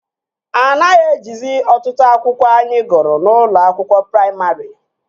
Anaghị ejizi otụtụ akwụkwọ anyị gụrụ n'ụlọ akwụkwọ praimarị